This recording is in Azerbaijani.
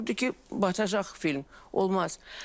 Qorxurdu ki, batacaq film, olmaz.